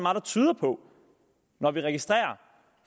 tyder på når vi registrerer